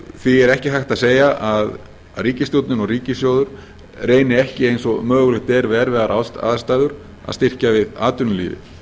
því er ekki hægt að segja að ríkisstjórnin og ríkissjóður reyni ekki eins og mögulegt er við erfiðar aðstæður að styrkja við atvinnulífið